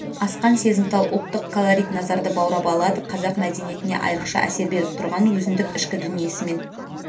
асқан сезімтал ұлттық колорит назарды баурап алады қазақ мәдениетіне айрықша әсер беріп тұрған өзіндік ішкі дүниесімен